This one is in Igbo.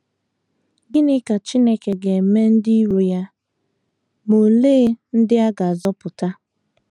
Gịnị ka Chineke ga - eme ndị iro ya, ma olee ndị a ga - azọpụta?